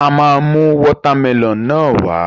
A máa mú water melon náà wá